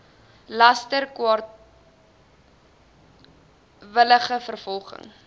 laster kwaadwillige vervolging